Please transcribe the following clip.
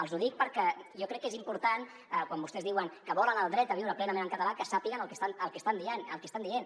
els ho dic perquè jo crec que és important quan vostès diuen que volen el dret a viure plenament en català que sàpiguen el que estan dient